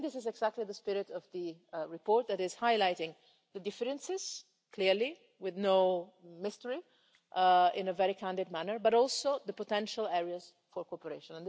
I think this is exactly the spirit of the report, which highlights the differences clearly, with no mystery and in a very candid manner but also the potential areas for cooperation.